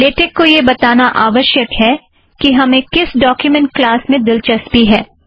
LaTeX को यह बताना आवश्यक है कि हमें किस डोक्युमेंट क्लास में दिलचस्पी है